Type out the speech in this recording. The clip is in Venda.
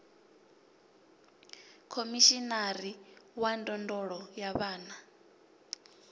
khomishinari wa ndondolo ya vhana